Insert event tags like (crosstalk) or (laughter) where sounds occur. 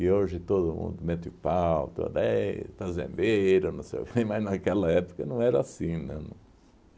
E hoje todo mundo, meto o pau, toda éh fazendeiro, (laughs) mas naquela época não era assim, não